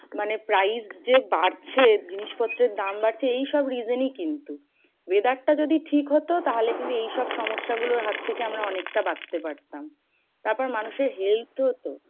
মানে price যে বাড়ছে। জিনিস পত্রের দাম বাড়ছে এইসব reason এই কিন্তু। weather টা যদি ঠিক হতো, তাহলে কিন্তু এইসব সমস্যা গুলোর হাত থেকে আমরা অনেকটা বাঁচতে পারতাম। তারপর মানুষের health তো হতো?